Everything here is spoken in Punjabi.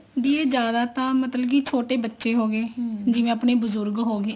ਵੀ ਇਹ ਜਿਆਦਾ ਛੋਟੇ ਬੱਚੇ ਹੋਗੇ ਜਿਵੇਂ ਆਪਣੇ ਬਜੁਰਗ ਹੋਗੇ